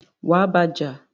wà á bá a jà!